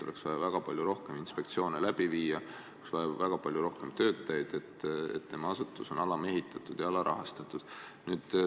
Oleks vaja väga palju rohkem inspektsioone läbi viia, oleks vaja väga palju rohkem töötajaid, et tema asutus on alamehitatud ja alarahastatud.